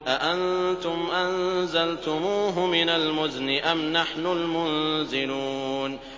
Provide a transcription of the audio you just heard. أَأَنتُمْ أَنزَلْتُمُوهُ مِنَ الْمُزْنِ أَمْ نَحْنُ الْمُنزِلُونَ